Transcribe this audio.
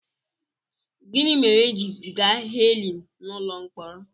Gịnị mere e ji ziga Helen n'ụlọ mkpọrọ?